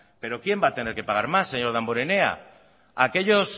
pero quién va a tener que pagar más señor damborenea aquellos